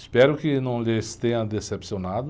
Espero que não lhes tenha decepcionado.